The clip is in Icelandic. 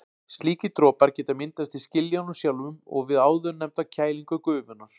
Slíkir dropar geta myndast í skiljunum sjálfum og við áðurnefnda kælingu gufunnar.